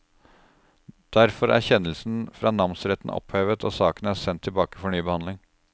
Derfor er kjennelsen fra namsretten opphevet, og saken er sendt tilbake for ny behandling.